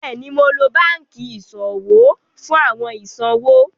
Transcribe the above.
Bẹ́ẹ̀ni, ḿó lọ̀ bankí iṣọwọ̀ fún awọn iṣọwọ̀.